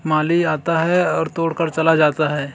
माली आता है और तोड़ कर चला जाता है।